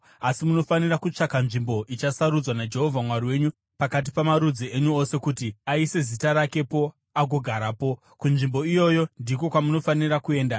Asi munofanira kutsvaka nzvimbo ichasarudzwa naJehovha Mwari wenyu pakati pamarudzi enyu ose kuti aise Zita rakepo agogarapo. Kunzvimbo iyoyo ndiko kwamunofanira kuenda;